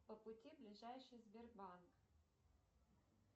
по пути ближайший сбербанк